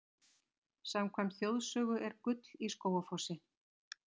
Samkvæmt þjóðsögu er gull í Skógafossi.